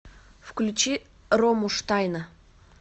включи рому штайна